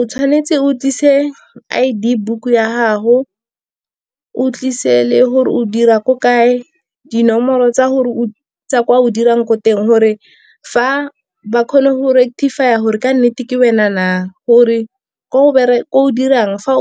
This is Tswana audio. O tshwanetse o tlise I_D book ya gago, o tlise le gore o dira ko kae, dinomoro tsa tsa kwa o dirang ko teng. Gore ba kgone go rectify-a gore ka nnete ke wena na. Gore ko o dirang, fa